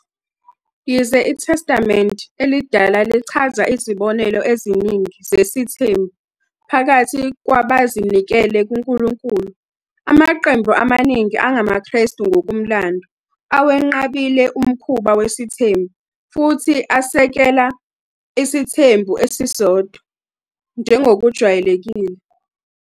Yize iTestamente Elidala lichaza izibonelo eziningi zesithembu phakathi kwabazinikele kuNkulunkulu, amaqembu amaningi angamaKristu ngokomlando awenqabile umkhuba wesithembu futhi asekele isithembu esisodwa njengokujwayelekile.